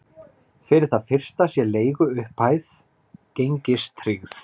Fyrir það fyrsta sé leiguupphæðin gengistryggð